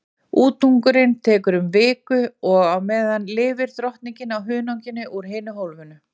Útungunin tekur um viku og á meðan lifir drottningin á hunanginu úr hinu hólfinu.